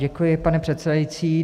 Děkuji, pane předsedající.